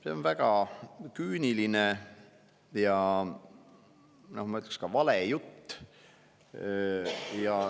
See on väga küüniline ja ma ütleksin, et ka vale jutt.